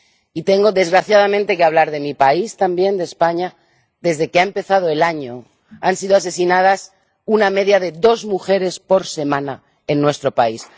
Y tengo, desgraciadamente, que hablar de mi país también, de España desde que ha empezado el año, han sido asesinadas una media de dos mujeres por semana en nuestro país.